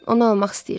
Onu almaq istəyirdim.